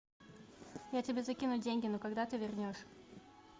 я тебе закину деньги но когда ты вернешь